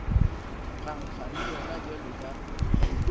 phankga le yona bjalo ka